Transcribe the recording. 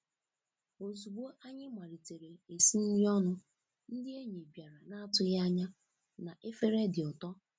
Ozugbo anyị malitere esi nri ọnụ, ndị enyi bịara na-atụghị anya na efere dị ụtọ.